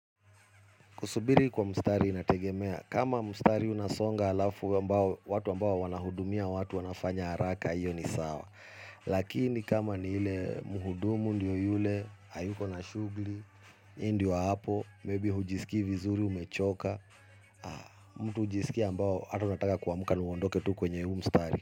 Kusubiri kwa mstari inategemea, kama mstari unasonga alafu ambao, watu ambao wanahudumia, watu wanafanya haraka, hiyo ni sawa. Lakini kama ni ile muhudumu ndio yule, hayuko na shugli, ndio hapo, maybe hujisikii vizuri umechoka, mtu hujisikii ambao hata unataka kuamuka na uondoke tu kwenye hu mstari.